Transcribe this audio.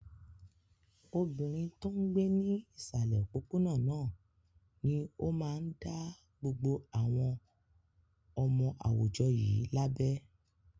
Obìnrin tó ń gbé ní ìsàlẹ̀ òpópónà náà ni ó máa dá gbogbo àwọn ọmọ àwùjọ yìí lábẹ.